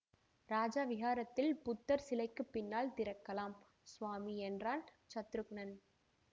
இராஜ விஹாரத்தில் புத்தர் சிலைக்குப் பின்னால் திறக்கலாம் சுவாமி என்றான் சத்ருக்னன்